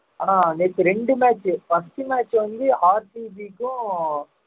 ஆஹ் நேத்து ரெண்டு match first match வந்து RCB க்கும்